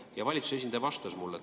Ja valitsuse esindaja vastas mulle.